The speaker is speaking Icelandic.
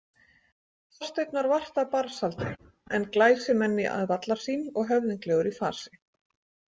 Þorsteinn var vart af barnsaldri en glæsimenni að vallarsýn og höfðinglegur í fasi.